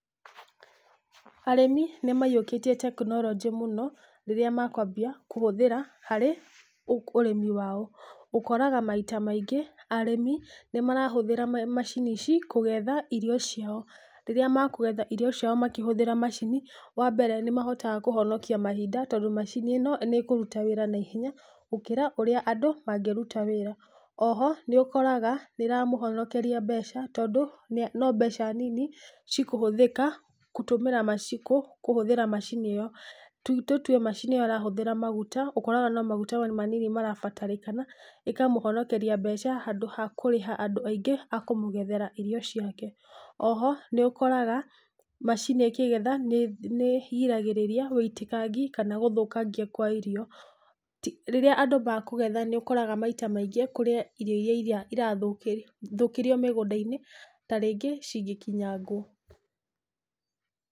Arĩmi nĩmaiyũkĩtie tekinorojĩ mũno, rĩrĩa makwambia kũhũthĩra harĩ, ũ ũrĩmi wao. Ũkoraga maita maingĩ, arĩmi, nĩmarahũthĩra ma macini ici, kũgetha irio ciao, rĩrĩa makũgethairio ciao makĩhũthĩra macini, wambere nĩmahotaga kũhonokia mahinda, tondũ macini ĩno nĩkũruta wĩra na ihenya gũkĩra ũrĩa andũ mangĩruta wĩra. Oho, nĩ ũkoraga nĩramũhonokeria mbeca, tondũ, no mbeca nini cikũhũthĩka, kũtũmĩra macikũ kũhũthĩra macini ĩyo. Tũtue macini ĩyo ĩrahũthĩra maguta, ũkoraga no maguta manini marabatarĩkana, ĩkamũhonokeria mbeca handũ ha kũrĩha andũ aingĩ a kũmũgethera irio ciake. Oho, nĩũkoraga, macini ĩkĩgetha nĩ nĩ ĩgiragĩrĩrĩria wĩitikangi kana gũthũkangia kwa irio. Rĩrĩa andũ mekũgetha nĩũkoraga maita maingĩ kũrĩ irio iria irathũkĩrio mĩgũndainĩ, tarĩngĩ cigĩkinyangwo.